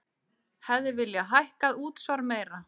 Hefði viljað hækka útsvar meira